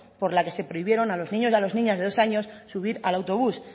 por la que se prohibieron a los niños y niñas de dos años subir al autobús